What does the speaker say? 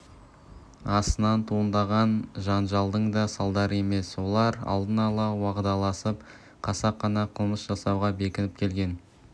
астынан туындаған жанжалдың да салдары емес олар алдын ала уағдаласып қасақана қылмыс жасауға бекініп келген